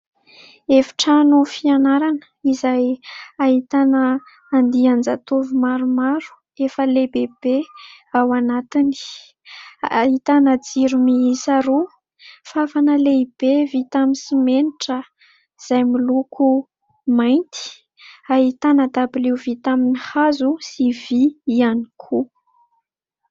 Efitrano fianarana izay ahitana andian-jatovo maromaro efa lehibehibe ao anatiny. Ahitana jiro miisa roa, fafana lehibe vita amin'ny simenitra izay miloko mainty. Ahitana dabilio vita amin'ny hazo sy vy ihany koa.